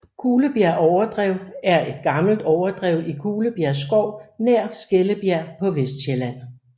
Kulebjerg Overdrev er et gammelt overdrev i Kulebjerg Skov nær Skellebjerg på Vestsjælland